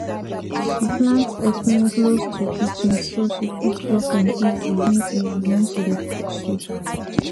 she plant efirin close to kitchen so she fit pluck am easy when easy when she dey cook soup